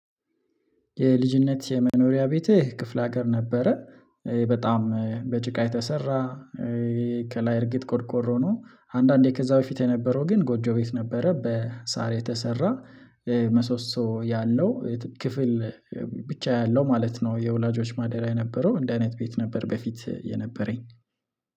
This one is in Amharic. የልጅነት የመኖሪያ ቤት ክፍለ ሀገር ነበረ በጣም በጭቃ የተሰራ። ከላይ እርግጥ ቆድቆሮ ነው አንዳንዴ ከዛ በፊት የነበረው ግን ጎጆ ቤት ነበረ በሳር የተሰራ። መሰሶ ያለው ክፍል ብቻ ያለው ማለት ነው። የወላጆች ማደሪያ የነበረው እንደ አይነት ቤት ነበር በፊት የነበረኝ